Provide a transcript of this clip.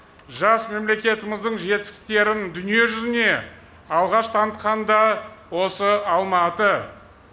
жас мемлекетіміздің жетістіктерін дүние жүзіне алғаш танытқан да осы алматы